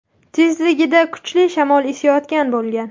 tezligida kuchli shamol esayotgan bo‘lgan.